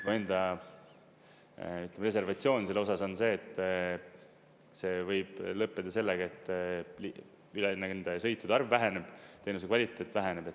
Mu enda, ütleme, reservatsioon selle osas on see, et see võib lõppeda sellega, et üle nende sõitude arv väheneb, teenuse kvaliteet väheneb.